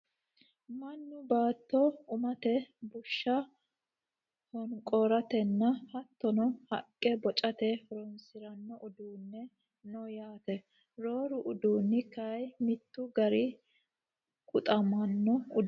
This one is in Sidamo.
Mannu baatto umate bushsha honqooratenna hattono haqqe bocate horonsirano uduunni no yaate. Rooru uduunni kayii mittu garii guxamono uduunneti yaate.